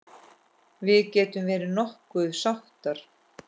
Við getum verið nokkuð sáttar.